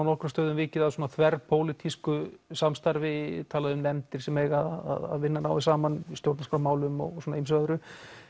nokkrum stöðum vikið að svona þverpólitísku samstarfi talað um nefndir sem eiga að vinna náið saman í stjórnarskrármálum og ýmsu öðru